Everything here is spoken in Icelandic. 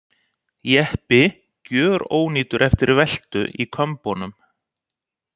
Jeppi gjörónýtur eftir veltu í Kömbunum